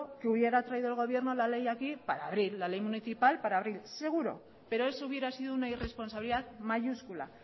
que hubiera traído el gobierno la ley aquí para abril la ley municipal para abril seguro pero eso hubiera sido una irresponsabilidad mayúscula